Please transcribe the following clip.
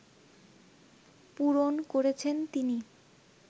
পূরণ করেছেন তিনি